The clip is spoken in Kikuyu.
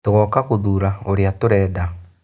Tũgoka gũthura ũrĩa tũrenda.